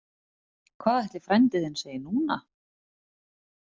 Hvað ætli frændi þinn segi núna?